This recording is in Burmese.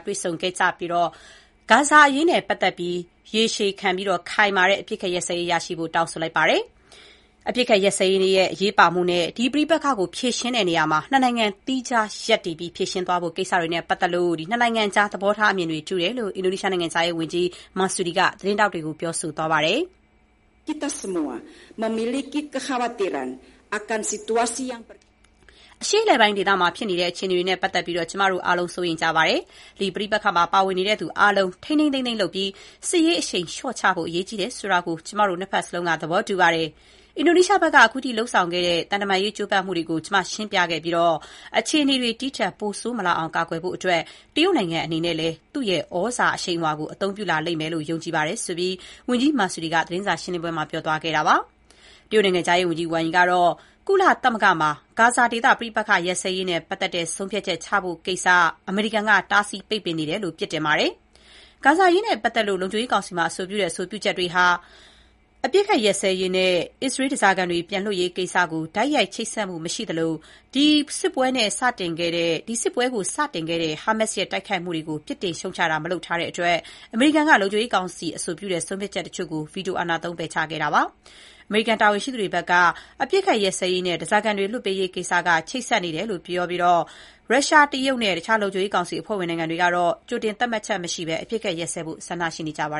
တွေ့ဆုံခဲ့ကြပြီးတော့၊ ဂါဇာဒေသမှာ ရေရှည်ခံတဲ့အပစ်အခတ်ရပ်စဲရေး ချက်ချင်းလုပ်ဆောင်ကြဖို့ တောင်းဆိုလိုက်ပါတယ်။ အပစ်အခတ်ရပ်စဲရေးရဲ့ အရေးပါမှု နဲ့ ဒီပဋိပက္ခကို ဖြေရှင်းတဲ့နေရာမှာ ၂ နိုင်ငံသီးခြားရပ်တည်ပြီးဖြေရှင်းသွားဖို့ကိစ္စတွေနဲ့ ပတ်သက်ပြီး ၂ နိုင်ငံကြားသဘောထားအမြင်တွေတူတယ်လို့ အင်ဒိုနီးရှားနိုင်ငံခြားရေးဝန်ကြီး Retno Marsudi က သတင်းထောက်တွေကိုပြောပါတယ်။ “အရှေ့အလယ်ပိုင်းဒေသမှာဖြစ်နေတဲ့ အခြေအနေတွေနဲ့ ပတ်သက်ပြီး ကျမတို့ အားလုံး စိုးရိမ်နေကြပါတယ်။ ဒီပဋိပက္ခမှာပါဝင်နေတဲ့သူတွေအားလုံး ထိန်းထိန်းသိမ်းသိမ်းလုပ်ပြီး စစ်ရေးအရှိန်လျှော့ချဖို့ အရေးကြီးတယ်ဆိုတာကို ကျမတို့ ၂ ဘက်စလုံးက သဘောတူကြပါတယ်။ အင်ဒိုနီးရှားဘက်က အခုထိလုပ်ဆောင်ခဲ့တဲ့ သံတမန်ရေးကျိုးပမ်းမှုတွေကို ကျမရှင်းပြခဲ့ပြီး၊ အခြေအနေတွေ ဒီထက်ပိုဆိုးမလာအောင် ကာကွယ်ဖို့အတွက် တရုတ်နိုင်ငံအနေနဲ့လည်း သူ့ရဲ့ သြဇာအရှိန်အဝါကို အသုံးပြုလာလိမ့်မယ်လို့ ကျမယုံကြည်တယ်လို့” ဝန်ကြီး Marsudi က ပြောပါတယ်။ တရုတ်နိုင်ငံခြားရေးဝန်ကြီး ဝမ်ရီကတော့ ကုလသမဂ္ဂမှာ ဂါဇာဒေသအပစ်အခတ်ရပ်စဲရေးနဲ့ ပတ်သက်တဲ့ ဆုံးဖြတ်ချက်ချဖို့ကိစ္စကို တားဆီးပိတ်ပင်နေတာနဲ့ ပတ်သက်ပြီး အမေရိကန်ပြည်ထောင်စုကို ပြစ်တင်လိုက်ပါတယ်။ ဂါဇာအရေးနဲ့ပတ်သက်ပြီး လုံခြုံရေးကောင်စီရဲ့ အဆိုပြုတဲ့ဆုံးဖြတ်ချက်တွေဟာ အပစ်အခတ်ရပ်စဲရေး နဲ့ အစ္စရေးဓါးစားခံတွေ ပြန်လွှတ်ပေးရေးကိစ္စကို တိုက်ရိုက်ချိတ်ဆက်မှုမရှိသလို၊ ဒီစစ်ပွဲကို စတင်ခဲ့တဲ့ ဟာမတ်စ် ရဲ့တိုက်ခိုက်မှုကို ပြစ်တင်ရှုတ်ချတာ မလုပ်ထားတဲ့အတွက် အမေရိကန်က လုံခြုံရေးကောင်စီအဆိုပြုတဲ့ဆုံးဖြတ်ချက်တချို့ကို ဗီတိုသုံး ပယ်ချခဲ့ပါတယ်။ အမေရိကန်တာဝန်ရှိသူတွေဘက်က အပစ်အခတ်ရပ်စဲရေး နဲ့ ဓါးစားခံတွေလွှတ်ပေးရေးကိစ္စက ချိတ်ဆက်နေတယ်လို့ ပြောပြီး ရုရှား၊ တရုတ်နဲ့ တခြားလုံခြုံရေးကောင်စီအဖွဲ့ဝင်နိုင်ငံတွေကတော့ ကြိုတင်သတ်မှတ်ချက်မရှိဘဲ အပစ်အခတ်ရပ်စဲဖို့ ဆန္ဒရှိနေကြပါ